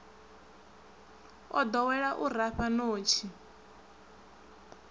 o ḓowela u rafha ṋotshi